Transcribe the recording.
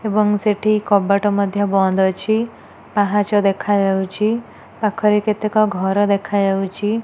ଏବଂ ସେଠି କବାଟ ମଧ୍ୟ ବନ୍ଦ ଅଛି। ପାହାଚ ଦେଖାଯାଉଚି। ପାଖରେ କେତେକ ଘର ଦେଖାଯାଉଚି --